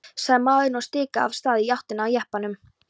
sagði maðurinn og stikaði af stað í áttina að jeppanum.